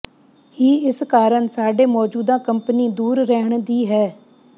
ਹੀ ਇਸ ਕਾਰਨ ਸਾਡੇ ਮੌਜੂਦਾ ਕੰਪਨੀ ਦੂਰ ਰਹਿਣ ਦੀ ਹੈ